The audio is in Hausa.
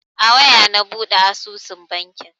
A waya na buɗe asusun banki.